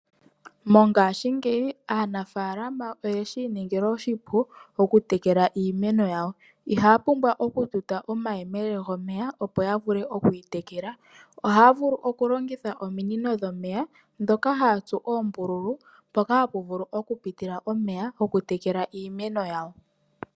Mongashingeyi aanafaalama oye shi iningila oshipu okutekela iimeno yawo. Ihaya pumbwa okututa omayele gomeya, opo ya vule oku yi tekela. Ohaya vulu okulongitha ominino dhomeya ndhoka haya tsu oombululu mpoka hapu vulu okupitila omeya gokutekela iimeno yawo.